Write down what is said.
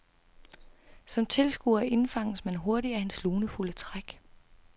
Som tilskuer indfanges man hurtigt af hans lunefulde træk.